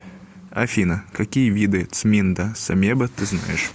афина какие виды цминда самеба ты знаешь